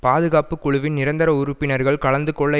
பாதுகாப்பு குழுவின் நிரந்தர உறுப்பினர்கள் கலந்து கொள்ள